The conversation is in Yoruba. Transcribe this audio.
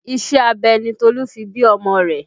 Iṣẹ́ abẹ ni Tolu fi bí ọmọ rẹ̀